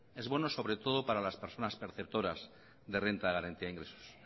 es bueno sobre todo para las personas perceptoras de renta de garantía de ingresos